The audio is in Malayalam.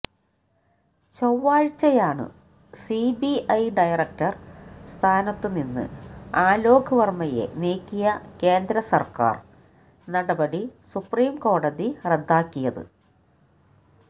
ചൊവ്വാഴ്ചയാണു സിബിഐ ഡയറക്ടര് സ്ഥാനത്തുനിന്ന് ആലോക് വര്മയെ നീക്കിയ കേന്ദ്രസര്ക്കാര് നടപടി സുപ്രീം കോടതി റദ്ദാക്കിയത്